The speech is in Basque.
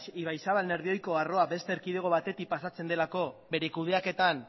ibaizabal nerbioiko arroa beste erkidego batetik pasatzen delako bere kudeaketan